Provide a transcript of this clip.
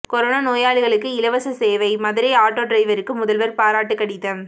corona நோயாளிகளுக்கு இலவச சேவை மதுரை ஆட்டோ டிரைவருக்கு முதல்வர் பாராட்டு கடிதம்